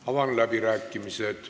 Avan läbirääkimised.